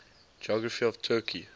geography of turkey